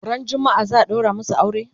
Ran jumma'a za'a ɗaura masu aure?